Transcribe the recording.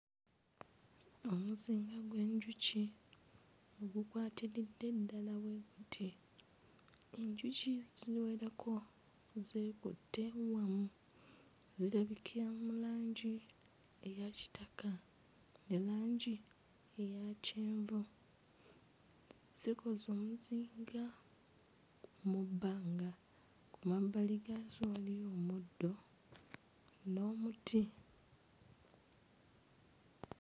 Omuzinga gw'enjuki ogukwatiridde ddala bwe guti, enjuki ziwerako, zeekutte wamu. Zirabikira mu langi eya kitaka ne langi eya kyenvu, zikoze omuzinga mu bbanga. Ku mabbali gaazo waliwo omuddo n'omuti.